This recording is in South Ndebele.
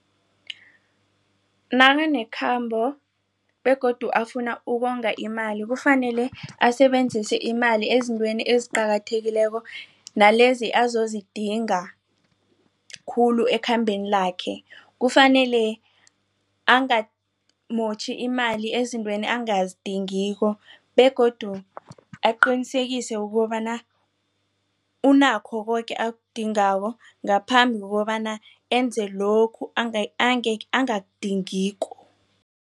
Nakanekhambo begodu afuna ukonga imali kufanele asebenzise imali ezintweni eziqakathekileko nalezi azozidinga khulu ekhambeni lakhe kufanele angamotjhi imali ezintweni angazidingiko begodu aqinisekise ukobana unakho koke akudingako ngaphambi kokobana enze lokhu angakakudingiko.